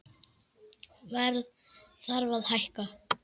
Verð þarf að hækka